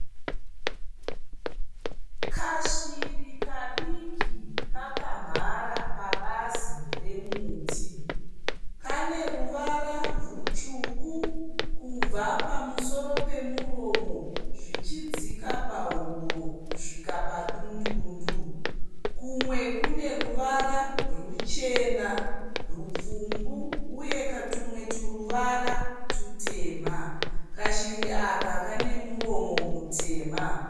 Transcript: Kashiri kadiki kakamhara pabazi remuti. Kaneruvara rwutsvuku kubva pamusoro pemuromo zvichidzika pahuro kusvika padundundu. Kumwe kuneruvara rwuchena, rwupfumbu uye tumwe turuvara tutema. Kashiri aka kanemuromo mutema.